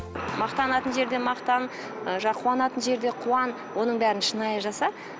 мақтанатын жерде мақтан ы қуанатын жерде қуан оның бәрін шынайы жаса